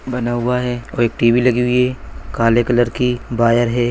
बना हुआ है और एक टी_वी लगी हुई है काले कलर की बायर है।